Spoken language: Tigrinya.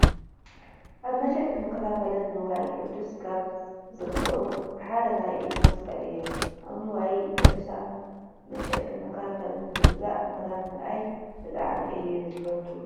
ኣብ መሸጥን መከፋፈልን ንዋየ ቅዱሳን ካብ ዝርከቡ ሓደ ናይ ኢድ መሳቅል እዮም። ኣብ ንዋየ ቅዱሳን መሸጥን መከፋፈልን ንምግዛእ ምኻድን ምርኣይን ብዛዕሚ እየ ዝፈትው።